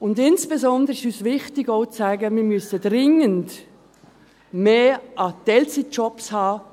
Insbesondere ist es uns wichtig, auch zu sagen: Wir müssen dringend mehr Teilzeitjobs haben.